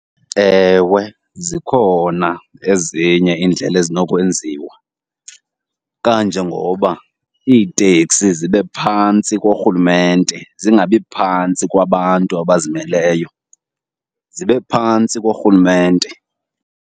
Ewe zikhona ezinye iindlela ezinokwenziwa kanje ngoba iiteksi zibe phantsi korhulumente. Zingabi phantsi kwabantu abazimeleyo, zibe phantsi korhulumente.